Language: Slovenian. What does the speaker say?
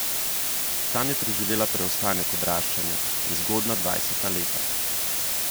Tam je preživela preostanek odraščanja in zgodnja dvajseta leta.